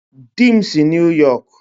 Di m si New York